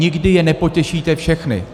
Nikdy je nepotěšíte všechny.